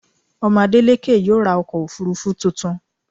Ọmọ Adélékè yóò ra ọkọ̀-òfurufú tuntun.